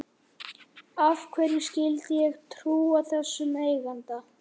Af hverju skyldi ég trúa þessum eiganda?